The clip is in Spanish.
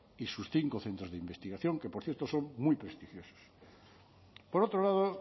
y sus cinco centros de investigación que por cierto son muy prestigiosos por otro lado